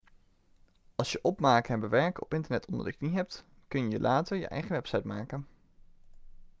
als je opmaken en bewerken op internet onder de knie hebt kun je later je eigen website maken